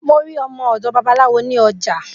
Mo rí ọmọ òdò babaláwo ní ojà